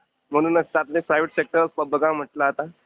म्हणूनच तर आपले प्रायव्हेट सेक्टर बघा म्हंटलं आता.